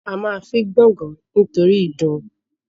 A ma fín gbàngan nítorí ìdun